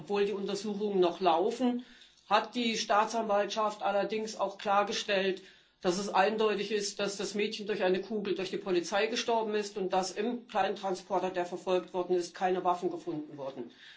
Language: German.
Obwohl die Untersuchungen noch laufen, hat die Staatsanwaltschaft klargestellt, dass es eindeutig ist, dass das Mädchen durch eine Kugel durch die Polizei gestorben ist und dass in dem Kleintransporter, der verfolgt worden ist, keine Waffen gefunden wurden.